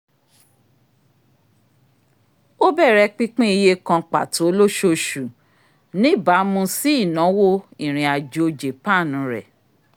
o bẹrẹ pinpin iye kàn pàtó loṣooṣu n'iba mú si inawo ìrìn-àjò japan rẹ